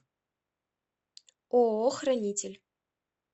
ооо хранитель